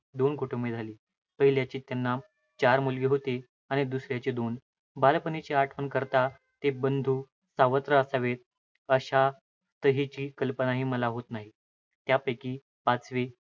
दोन कुटुंबे झाली. पहिल्याचे त्यांना चार मुलगे होते आणि दुसऱ्याचे दोन. बालपणीची आठवण करता ते बंधू सावत्र असावेत अशा तर्हेची कल्पनाही मला होत नाही. त्यापैकी पाचवे